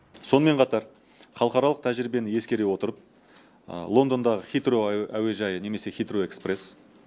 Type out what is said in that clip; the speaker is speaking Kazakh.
сонымен қатар халықаралық тәжірибені ескере отырып лондондағы хитроу әуежайы хитроу экспресс